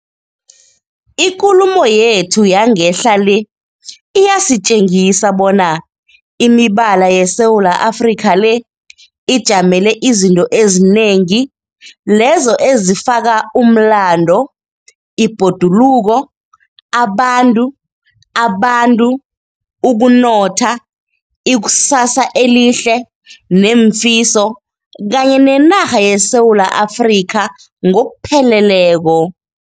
Ikulumo yethu yangehla le iyasitjengisa bona imibala yeSewula Afrika le ijamele izinto ezinengi lezo ezifaka umlando, ibhoduluko, abantu, abantu, ukunotha, ikusasa elihle nemfiso kanye nenarha yeSewula Afrika ngokupheleleko.